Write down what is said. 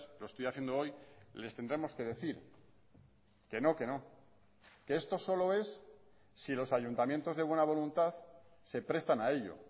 lo estoy haciendo hoy les tendremos que decir que no que no que esto solo es si los ayuntamientos de buena voluntad se prestan a ello